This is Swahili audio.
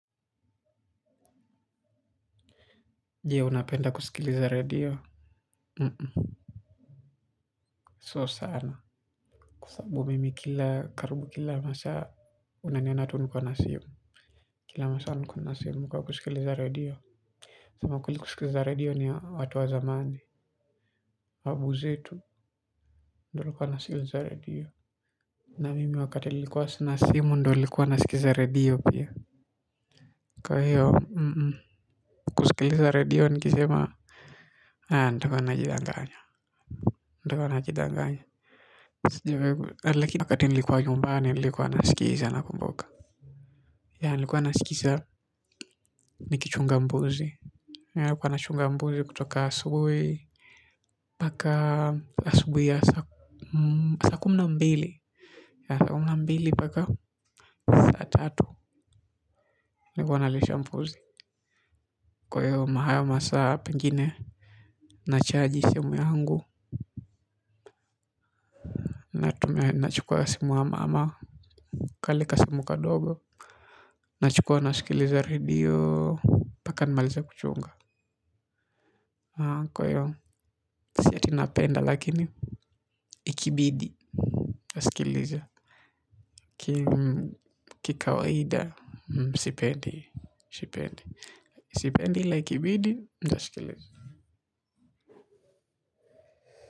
Jie unapenda kusikili zare dio. Unum So sana. Kusababu mimi kila karubu kila masa unanye natu nkuwa na simu. Kila masa nkuwa na simu kwa kusikili zare dio amukuli kusikili zare dio ni watu wa zamandi. Babu zetu ndo alikuwa na simu zare dio na mimi wakati likuwa sinasimu ndo likuwa na sikiliza redio pia. Kwa heo unum kusikiliza re io nikizema. Haa ndokwa najidanganya ndakuwa na jidanganya lakini wakati nilikwa nyumbani nilikwa nasikiza nakumbuka Ya nilikwa nasikiza nikichunga mbuzi Ya nilikwa nasikiza nikichunga mbuzi kutoka asubui paka asubui ya sakumi na mbili Ya sakumi na mbili paka saa tatu nikwa nalisha mbuzi. Kwa hio maha masaa pengine nachaji simu yangu. Nachukua simu wa mama kale ka imu kadogo. Nachukua nasikiliza radio paka nimaliza kuchunga. Kwa hio si yati napenda lakini ikibidi Asikiliza. Kikawaida Sipendi. Sipendi la ikibidi ntasikiliza.